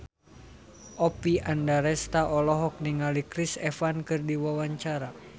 Oppie Andaresta olohok ningali Chris Evans keur diwawancara